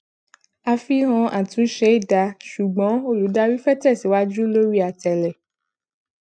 àfihàn àtúnṣe dáa ṣùgbọn olùdarí fẹ tẹsíwájú lórí àtẹle